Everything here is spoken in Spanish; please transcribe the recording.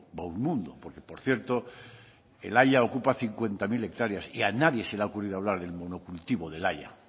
va un mundo porque por cierto el haya ocupa cincuenta mil hectáreas y a nadie se le ha ocurrido hablar del monocultivo del haya